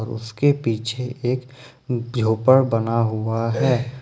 उसके पीछे एक झोपड़ बना हुआ हैं।